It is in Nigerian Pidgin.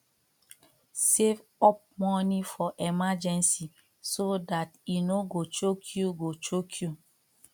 save up money for emergency so dat e no go choke you go choke you